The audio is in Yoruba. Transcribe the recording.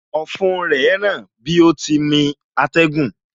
Ọ̀fun rẹ ń ràn bí ó ti ń mí atẹ́gùn